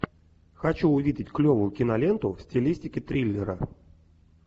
хочу увидеть клевую киноленту в стилистике триллера